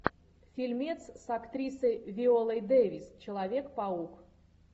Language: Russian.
фильмец с актрисой виолой дэвис человек паук